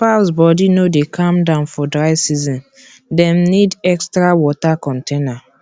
fowls body no dey calm down for dry season dem need extra water container